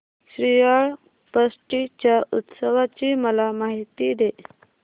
श्रीयाळ षष्टी च्या उत्सवाची मला माहिती दे